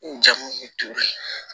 N jamu ye turu